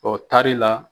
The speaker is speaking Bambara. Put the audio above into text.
Ɔ taari la